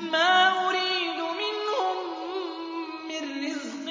مَا أُرِيدُ مِنْهُم مِّن رِّزْقٍ